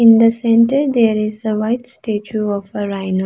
In the centre there is the white statue of a rhino.